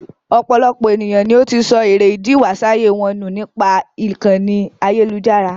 Ọ̀pọ̀lọpọ̀ èniyàn ni ó ti sọ èrè ídì ìwásáyé wọn ní nípa ìkànì ayélujára.